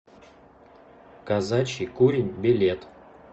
казачий курень билет